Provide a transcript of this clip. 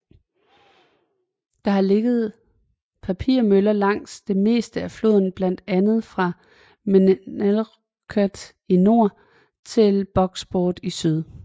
Der har ligget papirmøller langs det meste af floden blandt andet fra Millinocket i nord til Bucksport i syd